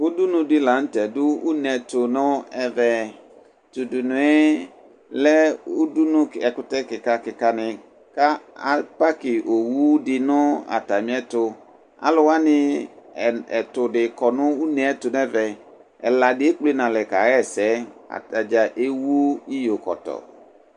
Udunudi la nutɛ du une tu nu ɛvɛ tudunu lɛ ɛkutɛ kika kika ni ku apaki owu di nu atamiɛtu aluwani ɛtudi kɔnu une tu nɛvɛ ɛladi ekple nalɛ kaɣa ɛsɛ atadza ewu iyokɔtɔ